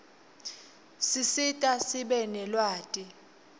sisita sibe nelwati